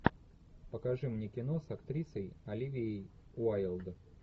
покажи мне кино с актрисой оливией уайлд